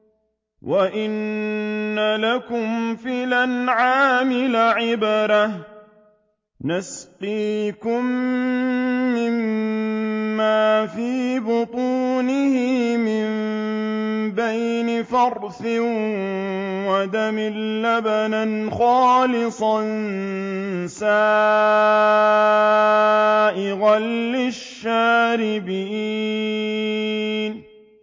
وَإِنَّ لَكُمْ فِي الْأَنْعَامِ لَعِبْرَةً ۖ نُّسْقِيكُم مِّمَّا فِي بُطُونِهِ مِن بَيْنِ فَرْثٍ وَدَمٍ لَّبَنًا خَالِصًا سَائِغًا لِّلشَّارِبِينَ